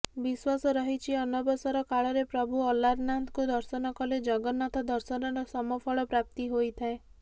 ବିଶ୍ୱାସ ରହିଛି ଅନବସର କାଳରେ ପ୍ରଭୁ ଅଲାରନାଥଙ୍କୁ ଦର୍ଶନ କଲେ ଜଗନ୍ନାଥ ଦର୍ଶନର ସମଫଳ ପ୍ରାପ୍ତି ହୋଇଥାଏ